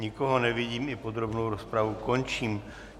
Nikoho nevidím, i podrobnou rozpravu končím.